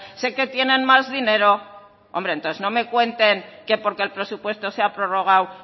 sé que tienen más dinero hombre entonces no me cuenten que porque el presupuesto se ha prorrogado